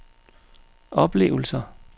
oplevelser